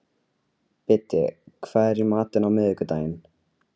Biddi, hvað er í matinn á miðvikudaginn?